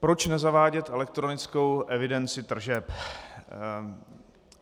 Proč nezavádět elektronickou evidenci tržeb?